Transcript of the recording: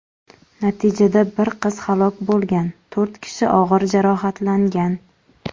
Natijada bir qiz halok bo‘lgan, to‘rt kishi og‘ir jarohatlangan.